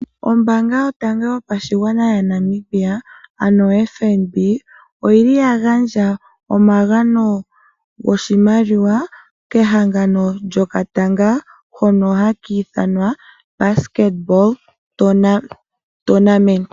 Ombaanga yotango yopashigwana ano oFNB , oyili ya gandja omagano goshimaliwa kehangano lyokatanga hono haka ithanwa Basket Tournament.